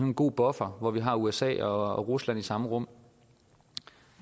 en god buffer hvor vi har usa og rusland i samme rum